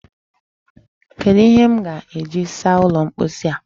Kedụ ihe m ga-eji saa ụlọ mposi a?